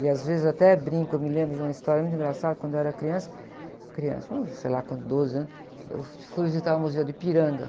E às vezes até brinco, eu me lembro de uma história muito engraçada, quando eu era criança. Criança, eu sei lá, com uns doze anos, eu fui visitar o Museu do Ipiranga.